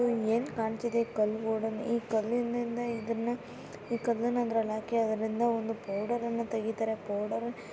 ಏನ್ ಕಾಂತಿದೆ ಈ ಕಲ್ ರೋಡಲ್ಲಿ ಈ ಕಲಿನ್ನಾ ಅದ್ರಲ್ಲಿ ಹಾಕಿ ಅದ್ರಿಂದ ಒಂದು ಪೌಡರ್ ಅನ್ನ ತೆಗಿತಾರೆ ಪೌಡರ್ .